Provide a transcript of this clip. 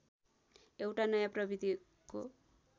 एउटा नयाँ प्रवृत्तिको